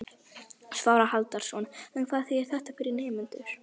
Svavar Halldórsson: En hvað þýðir þetta fyrir nemendur?